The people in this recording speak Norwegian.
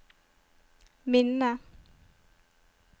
minne